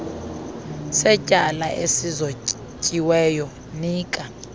setyala esizotyiweyo nika